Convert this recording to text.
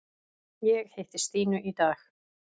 Ég hitti Stínu í dag.